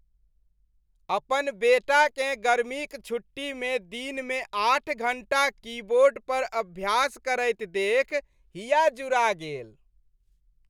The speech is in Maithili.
अपन बेटाकेँ गर्मीक छुट्टीमे दिनमे आठ घण्टा कीबोर्ड पर अभ्यास करैत देखि हिया जुड़ा गेल।